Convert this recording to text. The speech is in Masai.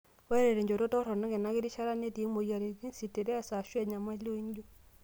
Ore tenchoto toronok ena kirishata netii moyiaritin, sitiress aashu enyamali ooinjio.